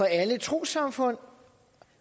alle trossamfund og